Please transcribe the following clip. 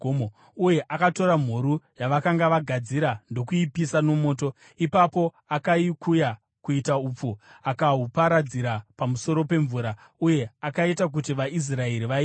Uye akatora mhuru yavakanga vagadzira ndokuipisa nomoto; ipapo akaikuya kuita upfu, akahuparadzira pamusoro pemvura uye akaita kuti vaIsraeri vainwe.